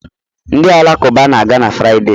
Ndị Alakụba na-aga na Fraịde